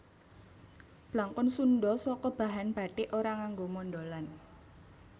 Blangkon Sundha saka bahan bathik ora nganggo mondholan